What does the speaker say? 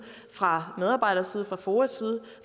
fra medarbejdernes side fra foas side